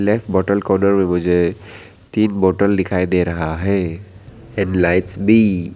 एक बोतल कॉर्नर में मुझे तीन बोतल दिखाई दे रहा है एण्ड लाइट्स भी।